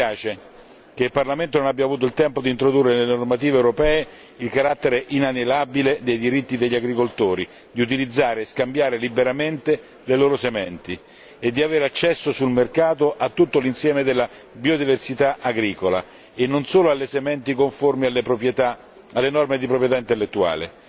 Ci dispiace, che il Parlamento non abbia avuto il tempo di introdurre nelle normative europee il carattere inalienabile dei diritti degli agricoltori di utilizzare e scambiare liberamente le loro sementi e di avere accesso sul mercato a tutto l'insieme della biodiversità agricola e non solo alle sementi conformi alle norme di proprietà intellettuale.